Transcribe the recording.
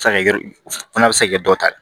Se ka kɛ fana a bɛ se ka kɛ dɔ ta ye